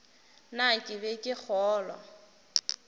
na ke be ke kgolwa